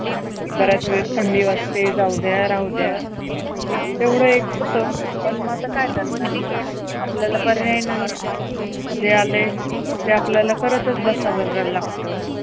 बऱ्याच वेळेस थंडी वाजते. जाऊद्या राहू द्या, तेवढं एक होतं. पण म आता काय करणारे? आपल्याला पर्याय नाही. जे आलंय ते आपल्याला करतच बसावं लागतं.